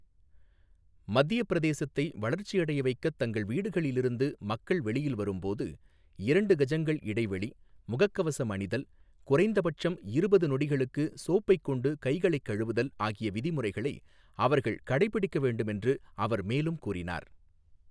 மத்தியப் பிரதேசத்தை வளர்ச்சியடைய வைக்கத் தங்கள் வீடுகளில் இருந்து மக்கள் வெளியில் வரும் போது, இரண்டு கஜங்கள் இடைவெளி, முகக்கவசம் அணிதல், குறைந்தபட்சம் இருபது நொடிகளுக்கு சோப்பைக் கொண்டு கைகளைக் கழுவதல் ஆகிய விதிமுறைகளை அவர்கள் கடைப்பிடிக்க வேண்டும் என்று அவர் மேலும் கூறினார்.